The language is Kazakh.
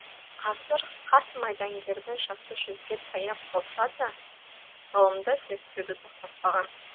қазір қарт майдангердің жасы жүзге таяп қалса да ғылымды зерттеуді тоқтатпаған